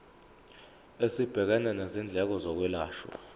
esibhekene nezindleko zokwelashwa